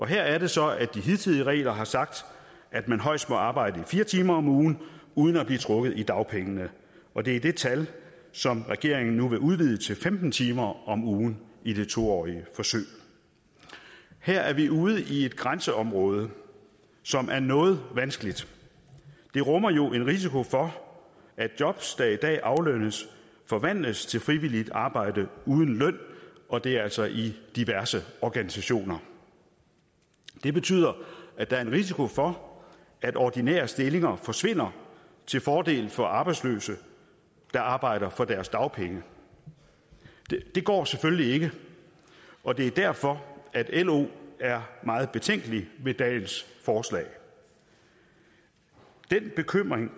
her er det så at de hidtidige regler har sagt at man højst må arbejde i fire timer om ugen uden at blive trukket i dagpengene og det er det tal som regeringen nu vil udvide til femten timer om ugen i det to årige forsøg her er vi ude i et grænseområde som er noget vanskeligt det rummer jo en risiko for at jobs der i dag aflønnes forvandles til frivilligt arbejde uden løn og det er altså i diverse organisationer det betyder at der er en risiko for at ordinære stillinger forsvinder til fordel for arbejdsløse der arbejder for deres dagpenge det går selvfølgelig ikke og det er derfor at lo er meget betænkelig ved dagens forslag den bekymring